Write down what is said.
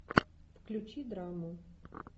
включи драму